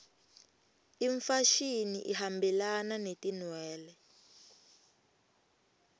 imfashini ihambelana netinwele